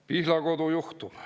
Pihlakodu juhtum.